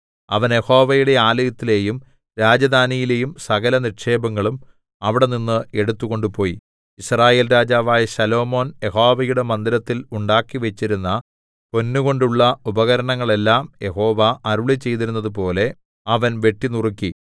അവൻ യഹോവയുടെ ആലയത്തിലെയും രാജധാനിയിലെയും സകലനിക്ഷേപങ്ങളും അവിടെനിന്ന് എടുത്ത് കൊണ്ടുപോയി യിസ്രായേൽ രാജാവായ ശലോമോൻ യഹോവയുടെ മന്ദിരത്തിൽ ഉണ്ടാക്കിവെച്ചിരുന്ന പൊന്നുകൊണ്ടുള്ള ഉപകരണങ്ങളെല്ലാം യഹോവ അരുളിച്ചെയ്തിരുന്നതുപോലെ അവൻ വെട്ടിനുറുക്കി